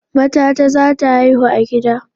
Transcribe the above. Matata zata haihu a gida